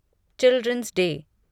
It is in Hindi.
children's day